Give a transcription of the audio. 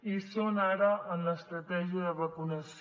i hi són ara en l’estratègia de vacunació